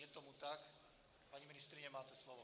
Je tomu tak, paní ministryně, máte slovo.